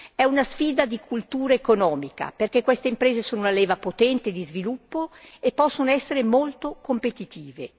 È una sfida di cultura economica, perché queste imprese sono una leva potente di sviluppo e possono essere molto competitive.